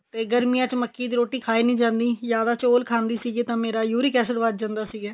ਤੇ ਗਰਮੀਆ ਵਿੱਚ ਮੱਕੀ ਦੀ ਰੋਟੀ ਖਾਈ ਨਹੀ ਜਾਂਦੀ ਜ਼ਿਆਦਾ ਚੋਲ ਖਾਂਦੀ ਸੀ ਤਾਂ ਮੇਰਾ uric acid ਵੱਧ ਜਾਂਦਾ ਸੀਗਾ